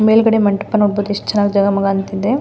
ಮೇಲ್ಗಡೆ ಮಂಟಪ ನೋಡಬಹುದು ಎಷ್ಟು ಚೆನ್ನಾಗಿ ಜಗ ಮಗ ಅಂತಿದೆ.